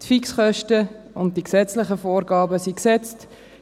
Die Fixkosten und die gesetzlichen Vorgaben sind gesetzt.